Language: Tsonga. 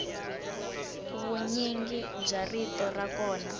vunyingi bya rito ra kona